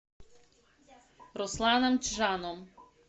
русланом чжаном